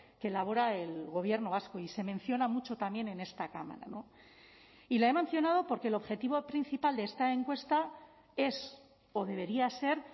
que elabora el gobierno vasco y se menciona mucho también en esta cámara y la he mencionado porque el objetivo principal de esta encuesta es o debería ser